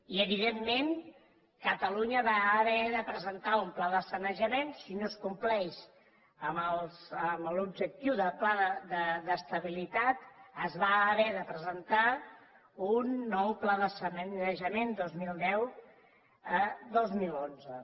i evidentment catalunya va haver de presentar un pla de sanejament si no es compleix amb l’objectiu del pla d’estabilitat es va haver de presentar un nou pla de sanejament dos mil deu a dos mil onze